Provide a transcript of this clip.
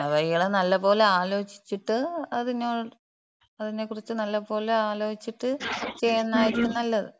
ഇയാള് നല്ലപോലെ ആലോചിച്ചിട്ട് അതിനെക്കുറിച്ച് നല്ലപോലെ ആലോചിച്ചിട്ട് ചെയ്യുന്നതായിരിക്കും നല്ലത്.